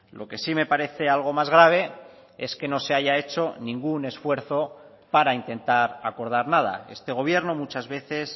lo que sí me parece algo más grave es que no se haya hecho ningún esfuerzo para intentar acordar nada este gobierno muchas veces